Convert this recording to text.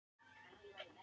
Hefur fallegar hendur.